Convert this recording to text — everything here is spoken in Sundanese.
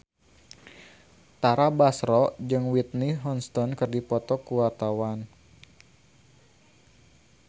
Tara Basro jeung Whitney Houston keur dipoto ku wartawan